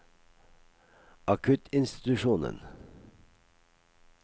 akuttinstitusjonen